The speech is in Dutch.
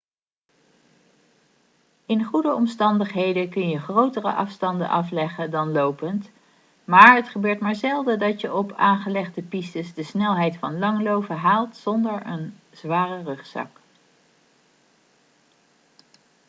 in goede omstandigheden kun je grotere afstanden afleggen dan lopend maar het gebeurt maar zelden dat je op aangelegde pistes de snelheid van langlaufen haalt zonder een zware rugzak